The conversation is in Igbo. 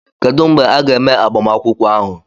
Kedu mgbe a ga-eme agbamakwụkwọ ahụ?